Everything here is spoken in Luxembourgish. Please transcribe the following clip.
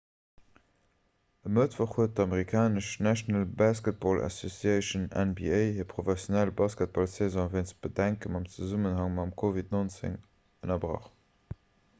e mëttwoch huet d'amerikanesch national basketball association nba hir professionell basketballsaison wéinst bedenken am zesummenhang mat covid-19 ënnerbrach